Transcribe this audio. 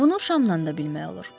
Bunu şamdan da bilmək olur.